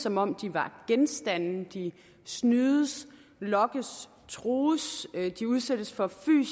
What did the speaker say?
som om de er genstande de snydes lokkes trues de udsættes for